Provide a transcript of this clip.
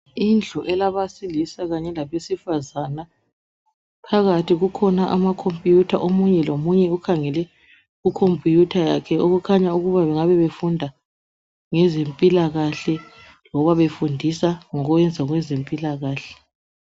Indlu elabesilisa kanye labesifazane. Phakathi kukhona amakhompiyutha omunye lomunye ukhangele ku khompiyutha yakhe. Kukhanya bengabe befunda ngezempilakahle loba befundisa ngokuyenza kwezempilakahle.